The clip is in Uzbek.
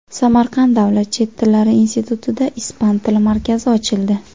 Samarqand davlat chet tillari institutida ispan tili markazi ochildi.